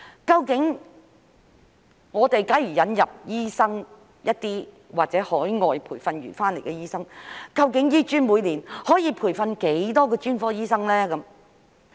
假如引入一些醫生，或海外培訓回流的醫生，究竟香港醫學專科學院每年可以培訓多少名專科醫生呢？